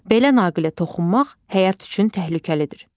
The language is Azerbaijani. Belə naqilə toxunmaq həyat üçün təhlükəlidir.